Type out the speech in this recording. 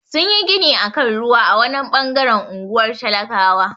Sun yi gini a kan ruwa a wanan bangaren ungwar talakawa.